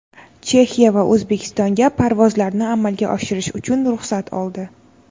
Chexiya va O‘zbekistonga parvozlarni amalga oshirish uchun ruxsat oldi.